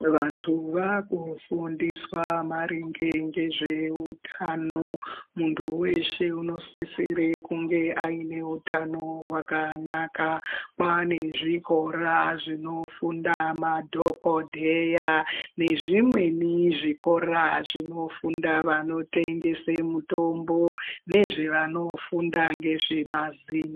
Vantu vakufundiswa maringe ngezveutano. Muntu weshe unosisire kunge aine utano hwakanaka. Kwane zvikora zvinofunda madhokodheya nezvimweni zvikora zvinofunda vanotengese mutombo nezvevanofunda nezvemazino